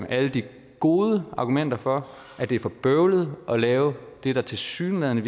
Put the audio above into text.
alle de gode argumenter for at det er for bøvlet at lave det der tilsyneladende